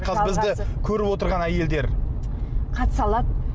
қазір бізді көріп отырған әйелдер қатыса алады